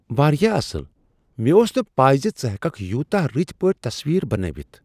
واریاہ اصٕل! مےٚ اوس نہ پے ژٕ ہیککھ یوٗتاہ رٕتۍ پٲٹھۍ تصویرٕ بنٲوتھ۔